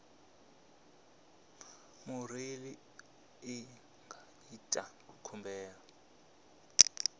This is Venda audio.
murole i nga ita khumbelo